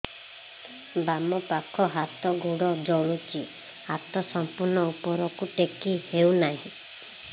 ବାମପାଖ ହାତ ଗୋଡ଼ ଜଳୁଛି ହାତ ସଂପୂର୍ଣ୍ଣ ଉପରକୁ ଟେକି ହେଉନାହିଁ